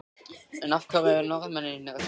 En af hverju eru Norðmennirnir að selja?